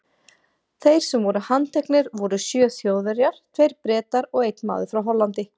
Þeir sem voru handteknir voru sjö Þjóðverjar, tveir Bretar og einn maður frá Hollandi.